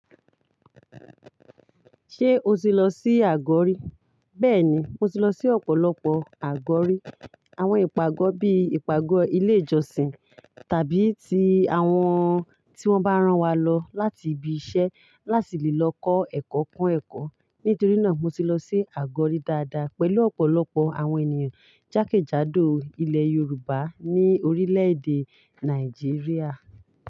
Ṣé o ti lọ sí àgọ́ rí? Bẹ́ẹ̀ni, mo ti lọ sí ọ̀pọ̀lọpọ̀ àgọ́ rí. Àwọn ìpàgọ́ bíi ìpàgọ́ ilé ìjọsìn tàbí ti àwọn tí wọ́n bá rán wa lọ láti ibi iṣẹ́ láti lè lọ kọ́ ẹ̀kọ́ kún ẹ̀kọ́. Nítorí náà mo ti lọ sí àgọ́rí dáadáa pẹ̀lú ọ̀pọ̀lọpọ̀ àwọn ènìyàn jákèjádò ilẹ̀ Yorùbá ní orílẹ̀-èdè Nàìjíríà.